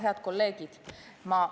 Head kolleegid!